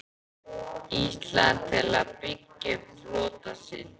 Íslands til að birgja upp flota sinn.